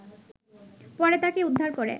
পরে তাকে উদ্ধার করে